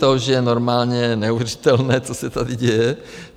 To už je normálně neuvěřitelné, co se tady děje.